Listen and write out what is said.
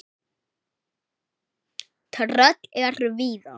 Tröll eru víða.